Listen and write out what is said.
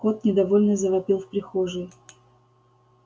кот недовольно завопил в прихожей